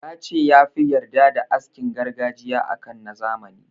Ya ce ya fi yarda da askin gargajiya a kan na zamani.